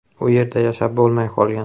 U yerda yashab bo‘lmay qolgan.